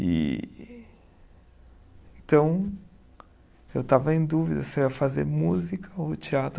E então, eu estava em dúvida se eu ia fazer música ou teatro.